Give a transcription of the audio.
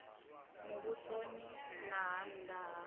muvhusoni na ha nna ha